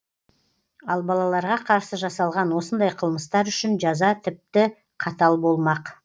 ал балаларға қарсы жасалған осындай қылмыстар үшін жаза тіпті қатал болмақ